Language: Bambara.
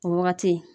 O wagati